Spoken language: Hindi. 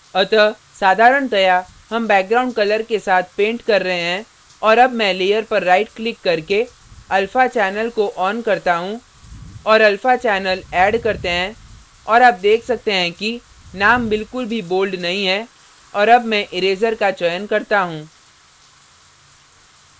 अतः साधारणतया हम background colour के साथ पेंट कर रहे हैं और अब मैं layer पर right क्लिक करके alpha channel को on करता हूँ और alpha channel add करते हैं और आप देख सकते हैं कि name बिलकुल भी bold नहीं है और अब मैं इरेज़र का चयन करता हूँ